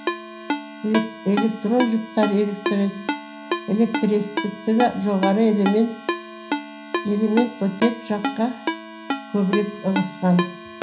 электрон жұптары электртерістігі жоғары элемент элемент оттек жаққа көбірек ығысқан